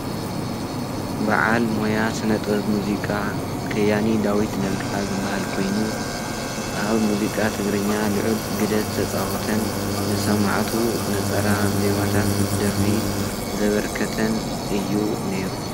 በዓል ሞያ ስነጥ ኣብ ሙዙቃ ከያኒ ዳዊት ነጋዝ በሃል ኮይኑ ኣብ ሙዚቃ ትግርኛ ልዑል ግደ ዝተፃወተን ንሰምዕቱ ነጸላ ዘይማታት ደርፊ ዘበርከተን እዩ ነይሩ።